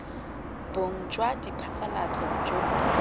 bong jwa diphasalatso jo bo